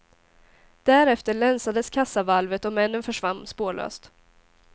Därefter länsades kassavalvet och männen försvann spårlöst.